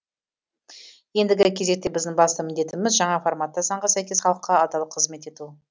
ендігі кезекте біздің басты міндетіміз жаңа форматта заңға сәйкес халыққа адал қызмет ету